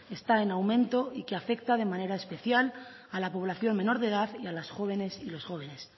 está en aumento y afecta de manera especial a la población menor de edad y a las jóvenes y los jóvenes